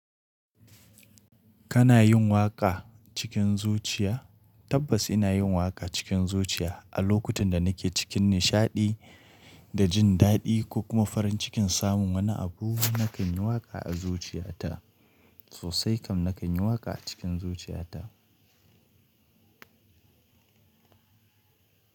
Kana yin waƙa cikin zuciya? Tabbas ina yin waƙa cikin zuciya a lokutan da nake cikin nishaɗi da jin daɗi ko kuma farin cikin samun wani abu nakan yi waƙa a zuciya ta sosai kam nakan yi waƙa a cikin zuciya ta.